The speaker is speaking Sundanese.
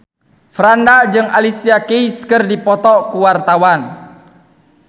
Franda jeung Alicia Keys keur dipoto ku wartawan